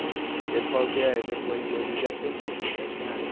Porque eles falam que eh depois eles iam prender, né? Daí eu falei ah não